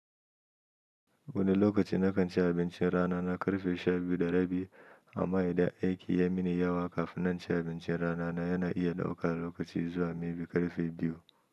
Wani lokaci na kan ci abincin rana na ƙarfe shabiyu da rabi amm idan aiki ya min yawa. Kafin na ci abincin rana na yana iya ɗaukar lokaci zuwa ma karfe biyu.